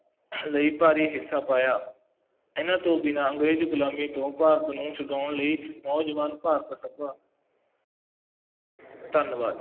ਲਈ ਭਾਰੀ ਹਿੱਸਾ ਪਾਇਆ, ਇਹਨਾ ਤੋਂ ਬਿਨਾ ਅੰਗਰੇਜ਼ ਗੁਲਾਮੀ ਤੋਂ ਭਾਰਤ ਨੂੰ ਛੁਡਉਣ ਲਈ ਨੌਜਵਾਨ ਭਾਰਤ ਸਭਾ ਧੰਨਵਾਦ।